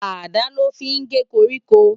Àdá lò fi n gé kórìkó